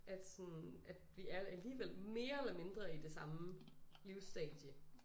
At sådan at vi er alligevel mere eller mindre i det samme livsstadie